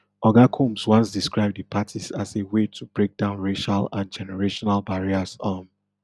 oga combs once describe di parties as a way to break down racial and generational barriers um